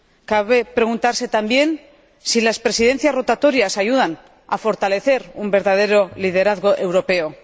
Cabe preguntarse también si las Presidencias rotatorias ayudan a fortalecer un verdadero liderazgo europeo.